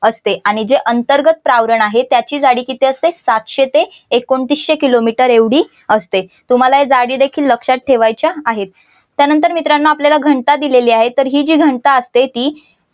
असते आणि जे अंतर्गत प्रावरण आहे त्याची जाडी किती असते सातशे ते एकोणतीशे किलोमीटर एवढे असते तुम्हाला या जाडी देखील लक्षात ठेवायचे आहेत त्यानंतर मित्रांनो आपल्याला घनता दिलेली आहे तर ही जी घनता असते ती